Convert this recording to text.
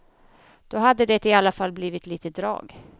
Då hade det i alla fall blivit lite drag.